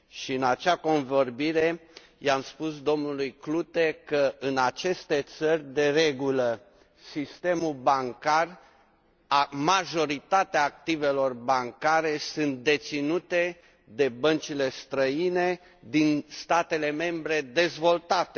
În acea convorbire, i am spus domnului Klute că, în aceste țări, de regulă, sistemul bancar, majoritatea activelor bancare sunt deținute de băncile străine din statele membre dezvoltate.